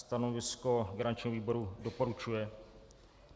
Stanovisko garančního výboru: doporučuje.